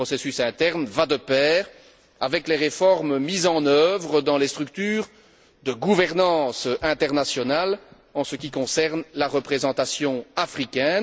Ce processus interne va de pair avec les réformes mises en œuvre dans les structures de gouvernance internationales en ce qui concerne la représentation africaine.